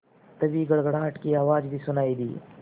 तभी गड़गड़ाहट की आवाज़ भी सुनाई दी